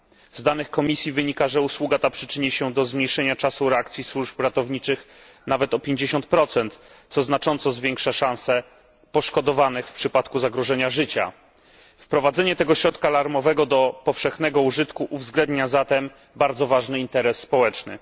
Z danych Komisji wynika, że usługa ta przyczyni się do zmniejszenia czasu reakcji służb ratowniczych nawet o 50, co znacząco zwiększa szanse poszkodowanych w przypadku zagrożenia życia. Wprowadzenie tego środka alarmowego do powszechnego użytku uwzględnia zatem bardzo ważny interes społeczny.